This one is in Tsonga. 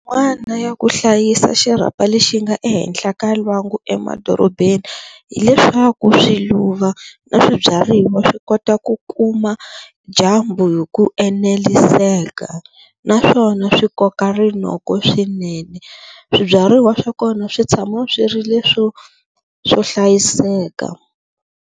Ya ku hlayisa xirhapa lexi nga ehenhla ka lwangu emadorobeni hileswaku swiluva na swibyariwa swi kota ku kuma dyambu hi ku eneliseka naswona swi koka rinoko swinene swibyariwa swa kona swi tshama swi ri leswo swo hlayiseka.